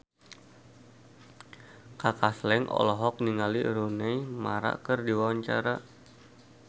Kaka Slank olohok ningali Rooney Mara keur diwawancara